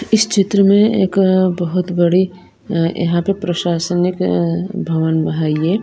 इस चित्र में एक बहुत बड़ी यहां पे प्रशासनिक भवन है यह--